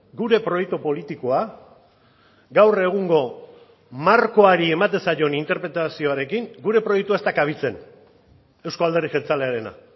gure proiektu politikoa gaur egungo markoari ematen zaion interpretazioarekin gure proiektua ez da kabitzen euzko alderdi jeltzalearena